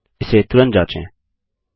इसे तुरंत जाँचें